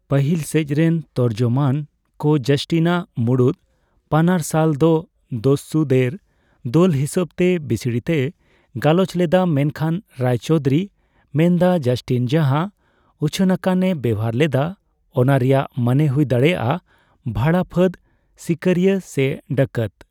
ᱯᱟᱹᱦᱤᱞ ᱥᱮᱡᱨᱮᱱ ᱛᱚᱨᱡᱚᱢᱟᱱ ᱠᱚ ᱡᱟᱥᱴᱤᱱᱟᱜ ᱢᱩᱲᱩᱫ ᱯᱟᱱᱟᱨᱥᱟᱞ ᱫᱚ ᱫᱚᱥᱥᱩᱫᱮᱨ ᱫᱚᱞ ᱦᱤᱥᱟᱹᱵᱛᱮ ᱵᱤᱥᱲᱤᱛᱮᱭ ᱜᱟᱞᱚᱪ ᱞᱮᱫᱟ, ᱢᱮᱱᱠᱷᱟᱱ ᱨᱟᱭᱪᱚᱣᱫᱚᱷᱳᱨᱤ ᱢᱮᱱᱮᱫᱟ, ᱡᱟᱥᱴᱤᱱ ᱡᱟᱦᱟᱸ ᱩᱪᱷᱟᱹᱱᱟᱠᱟᱱ ᱮ ᱵᱮᱣᱦᱟᱨ ᱞᱮᱫᱟ ᱚᱱᱟ ᱨᱮᱭᱟᱜ ᱢᱟᱱᱮ ᱦᱩᱭ ᱫᱟᱲᱮᱭᱟᱜᱼᱟ ᱵᱷᱟᱲᱟ ᱯᱷᱟᱹᱫᱽ, ᱥᱤᱠᱟᱹᱨᱤᱭᱟᱹ ᱥᱮ ᱰᱟᱠᱟᱛ ᱾